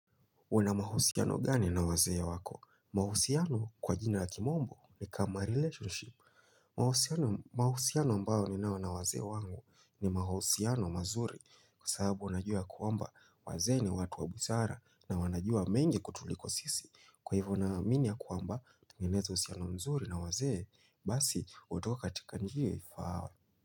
Una mahusiano gani na wazee ya wako? Mahusiano kwa jina la kimombo ni kama relationship. Mahusiano ambao ninao na wazee wangu ni mahusiano mazuri kwa sababu najua ya kwamba wazee ni watu wa busara na wanajua mengi kutuliko sisi. Kwa hivyo naamini ya kwamba tingenezo usiano mzuri na wazee, basi utoka katika njia ifaao.